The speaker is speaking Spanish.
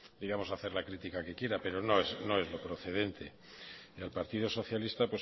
digamos hacer la critica que quiera pero no es lo procedente al partido socialista